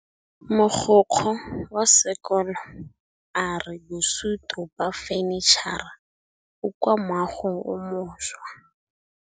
Mogokgo wa sekolo a re bosutô ba fanitšhara bo kwa moagong o mošwa.